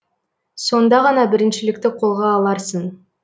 сонда ғана біріншілікті қолға аларсың